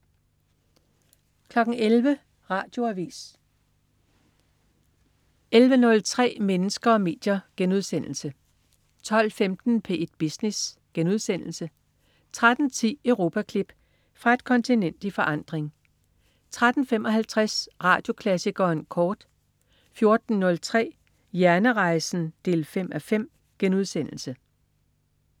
11.00 Radioavis 11.03 Mennesker og medier* 12.15 P1 Business* 13.10 Europaklip. Fra et kontinent i forandring 13.55 Radioklassikeren kort 14.03 Hjernerejsen 5:5*